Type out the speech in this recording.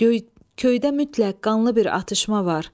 Köydə mütləq qanlı bir atışma var.